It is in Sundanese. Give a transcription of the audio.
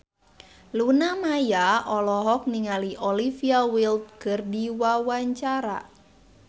Luna Maya olohok ningali Olivia Wilde keur diwawancara